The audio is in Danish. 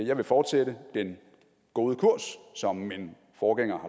jeg vil fortsætte den gode kurs som min forgænger